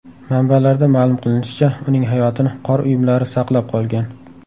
Manbalarda ma’lum qilinishicha, uning hayotini qor uyumlari saqlab qolgan.